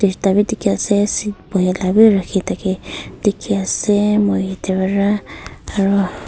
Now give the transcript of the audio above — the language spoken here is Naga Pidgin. bhi dikhi ase seat bohe lah bhi rakhe thake dikhi ase moi tebra aro--